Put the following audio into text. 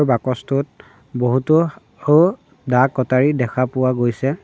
বাকচটোত বহুতো দা কটাৰী দেখা পোৱা গৈছে।